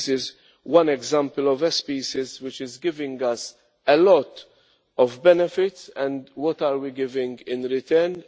This is one example of a species which is giving us a lot of benefit, and what are we giving in return?